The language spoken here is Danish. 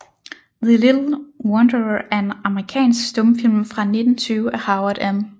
The Little Wanderer er en amerikansk stumfilm fra 1920 af Howard M